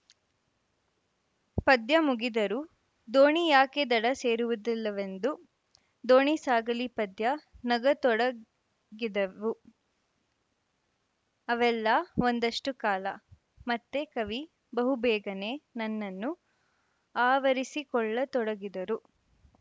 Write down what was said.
ಪದ್ಯ ಮುಗಿದರೂ ದೋಣಿ ಯಾಕೆ ದಡ ಸೇರುವುದಿಲ್ಲವೆಂದು ದೋಣಿ ಸಾಗಲಿ ಪದ್ಯ ನಗತೊಡಗಿದೆವು ಅವೆಲ್ಲ ಒಂದಷ್ಟುಕಾಲ ಮತ್ತೆ ಕವಿ ಬಹುಬೇಗನೆ ನನ್ನನ್ನು ಆವರಿಸಿಕೊಳ್ಳತೊಡಗಿದರು